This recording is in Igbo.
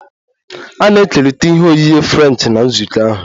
A na-ekerịta ihe oghighe Frenchi na nzukọ ahụ